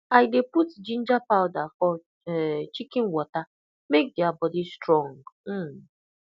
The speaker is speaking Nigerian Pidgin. i dey put ginger powder for um chicken water make their body strong um